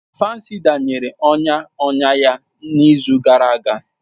Fansida nyere ọnya ọnya ya n'izu gara aga